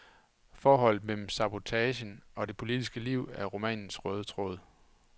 Forholdet mellem sabotagen og det politiske liv er romanens røde tråd.